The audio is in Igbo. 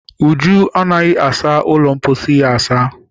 Uju anaghị asa ụlọ mposi ya asa.